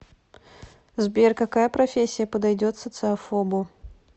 сбер какая профессия подойдет социофобу